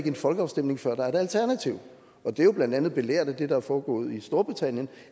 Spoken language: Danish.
en folkeafstemning før der er et alternativ og det er jo blandt andet belært af det der er foregået i storbritannien